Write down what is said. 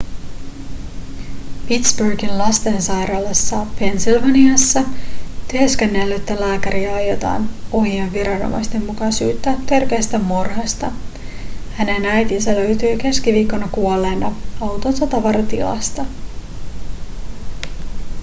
pittsburghin lastensairaalassa pennsylvaniassa työskennellyttä lääkäriä aiotaan ohion viranomaisten mukaan syyttää törkeästä murhasta hänen äitinsä löytyi keskiviikkona kuolleena autonsa tavaratilasta